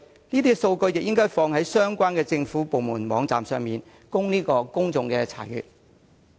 這些數據也應該上載至相關政府部門的網站，供公眾查閱。